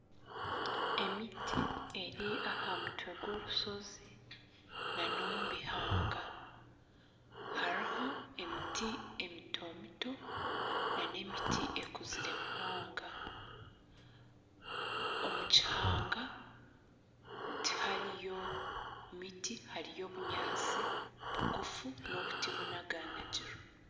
Emiti eri aha mutwe gw'orushozi na nomu bihaanga hariho emiti emito mito na n'emiti ekuzire munonga. Omu kihanga tihariho miti hariho obunyaasi bugufu n'obuti bunaganagirwe.